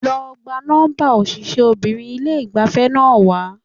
Lọ gba nọ́ḿbà òṣìṣẹ́bìnrin ilé ìgbafẹ́ náà wá.